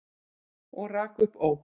Og rak upp óp.